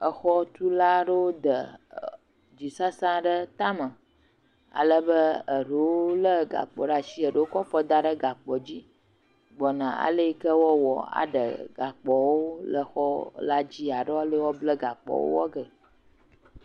Exɔtula aɖewo de egli sesẽ aɖe tame ale be aɖewo le gakpo ɖe asi, eɖewo kɔ afɔ da ɖe gakpoa dzi gbɔna, ale yike wòa wɔ aɖe gakpoa wò le xɔ la dzi alo wole yike gakpoawo wɔ ge.